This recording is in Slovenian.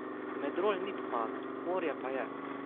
Medrol ni pomagal, morje pa je.